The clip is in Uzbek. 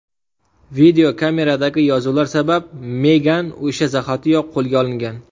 Videokameradagi yozuvlar sabab Megan o‘sha zahotiyoq qo‘lga olingan.